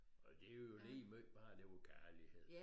Og det jo ligemeget bare der var kærlighed